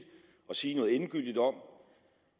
sige noget endegyldigt om